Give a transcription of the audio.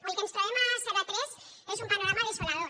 el que ens trobem a zero a tres és un panorama desolador